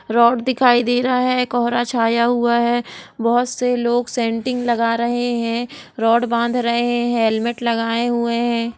Rod दिखाई दे रहा है। कोहरा छाया हुआ है। बहोत से लोग सैंटिंग लगा रहे हैं। रॉड बांध रहे हैं हेलमेट लगाए हुए है।